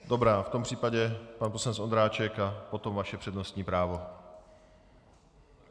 Dobrá, v tom případě pan poslanec Ondráček a potom vaše přednostní právo.